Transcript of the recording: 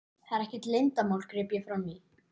Það er ekkert leyndarmál, greip ég fram í.